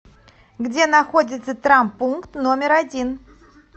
где находится травмпункт номер один